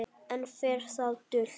Enn fer það dult